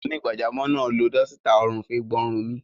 Onígbàjamọ̀ náà lo dọ́sítà ọrùn fi gbọn ọrùn mi.